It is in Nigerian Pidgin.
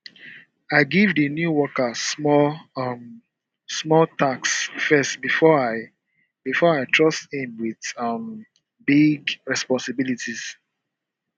i give di new worker small um small tasks first before i before i trust him with um bigger responsibilities